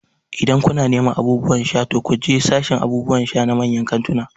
Idan kuna neman abubuwan sha, to ku je sashin abubuwan sha na manyan kantunan